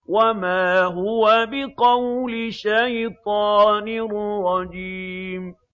وَمَا هُوَ بِقَوْلِ شَيْطَانٍ رَّجِيمٍ